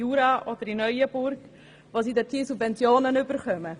Jura oder Neuenburg hinausblickt, wo Subventionen gewährt werden.